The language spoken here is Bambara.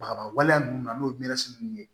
Baga baliya ninnu n'o ye mɛnisi ninnu ye